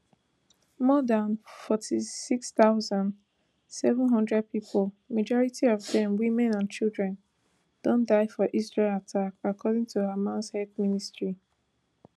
more dan forty-six thousand, seven hundred pipo majority of dem women and children don die for israel attacks according to hamas health ministry